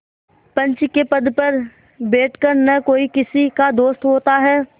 पंच के पद पर बैठ कर न कोई किसी का दोस्त होता है